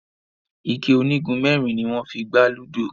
ikẹ onigunmẹrin ní wón fí gbà ludo.